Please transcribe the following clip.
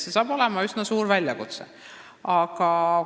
See hakkab olema üsna suur väljakutse.